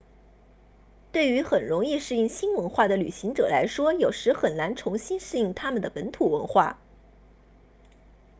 对于很容易适应新文化的旅行者来说有时很难重新适应他们的本土文化